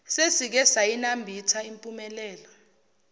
sesike sayinambitha impumelelo